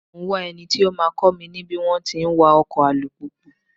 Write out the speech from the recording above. Mò ń wá eni tó máa kọ́ mi ní bí wón ti ń wa ọkọ̀ alùpùpù.